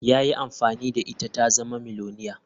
Ya yi amfani da ita ta zama miliyoniya.